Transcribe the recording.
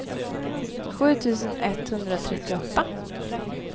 sju tusen etthundratrettioåtta